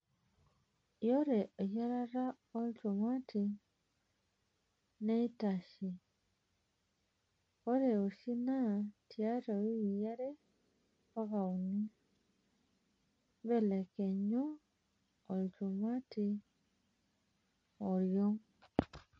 Ore eyiarata olchumati neitashe (ore oshii naa tiatwa wikii are mpaka unii).Mbelekenyu iloshumati oriong'.